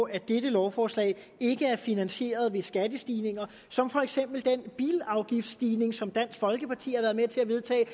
at dette lovforslag ikke er finansieret ved skattestigninger som for eksempel den bilafgiftsstigning som dansk folkeparti har været med til at vedtage og